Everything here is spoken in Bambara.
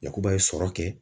Yakuba ye sɔrɔ kɛ